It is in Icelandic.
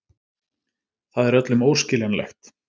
Það er öllum óskiljanlegt.